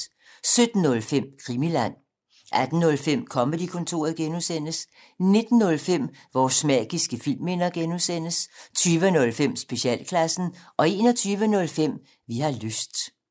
17:05: Krimiland 18:05: Comedy-kontoret (G) 19:05: Vores magiske filmminder (G) 20:05: Specialklassen 21:05: Vi har lyst